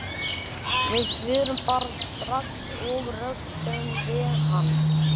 Bengta, einhvern tímann þarf allt að taka enda.